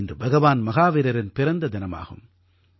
இன்று பகவான் மஹாவீரரின் பிறந்த தினமாகும்